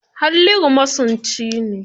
Halliru masunci ne.